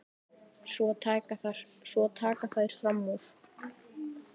Svo taka þær fram úr.